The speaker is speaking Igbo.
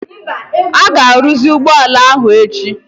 ị ga-arụzi ụgbọ ala a echi?